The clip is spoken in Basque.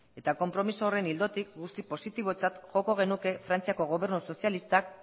eta konpromezu horren ildotik guztiz positibotzat joko genuke frantziako gobernu sozialistak